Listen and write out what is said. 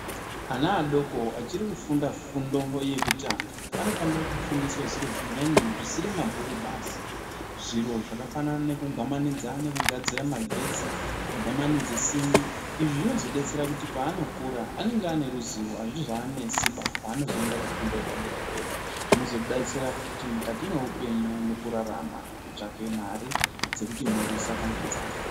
Ana adoko achiri kufunda fundo yekutanga anofanira kufundiswa zviro zvimweni zvisiri mabhuku basi. Zviro zvakafanana nekugwamanidza kugadzira magetsi kugwamanidze simbi. Izvi zvinozodetsera kuti paanokura anenge ane ruzivo. Hazvizoanesiba paanozoenda kufundo yepadera-dera. Zvinozodetsera futi mukati mweupenyu mukurarama, kutsvake mare dzekuti mhuri asafa ngenzara.